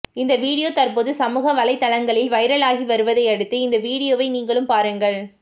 இந்த வீடியோ தற்போது சமூக வலைதளங்களில் வைரல் ஆகி வருவதை அடுத்து இந்த வீடியோவை நீங்களும் பாருங்கள்